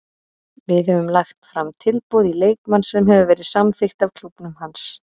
Við höfum lagt fram tilboð í leikmann sem hefur verið samþykkt af klúbbnum hans.